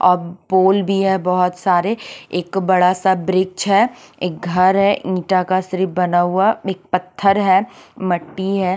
अ ब पोल भी बहुत सारे एक बड़ा सा बिरिक्ष हैं एक घर हैं ईटा का सिर्फ बना हुआ एक पत्थर हैं मट्टी हैं।